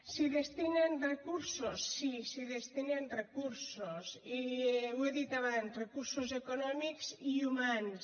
s’hi destinen recursos sí s’hi destinen recursos i ho he dit abans recursos econòmics i humans